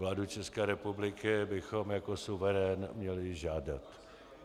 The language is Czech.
Vládu České republiky bychom jako suverén měli žádat.